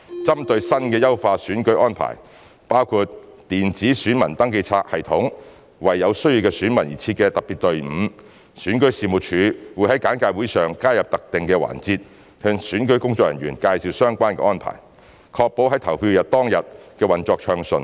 針對新的優化選舉安排，包括電子選民登記冊系統及為有需要的選民而設的特別隊伍，選舉事務處會在簡介會上加入特定的環節向選舉工作人員介紹相關的安排，確保在投票日當天的運作暢順。